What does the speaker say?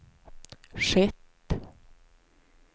skett